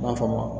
M'a fɔ